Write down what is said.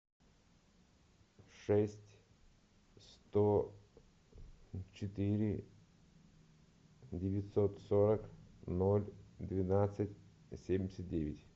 шесть сто четыре девятьсот сорок ноль двенадцать семьдесят девять